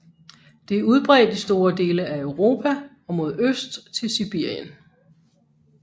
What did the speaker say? Det er udbredt i store dele af Europa og mod øst til Sibirien